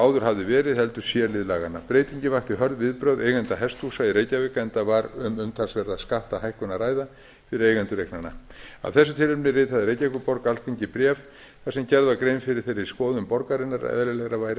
áður hafði verið heldur c lið laganna breytingin vakti hörð viðbrögð eigenda hesthúsa í reykjavík enda var um umtalsverða skattahækkun að ræða fyrir eigendur eignanna af þessu tilefni ritaði reykjavíkurborg alþingi bréf þar sem gerð var grein fyrir þeirri skoðun borgarinnar að eðlilegra væri að